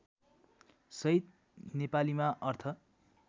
सहित नेपालीमा अर्थ